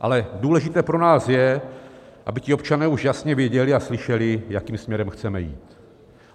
Ale důležité pro nás je, aby ti občané už jasně věděli a slyšeli, jakým směrem chceme jít.